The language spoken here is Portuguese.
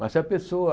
Mas se a pessoa...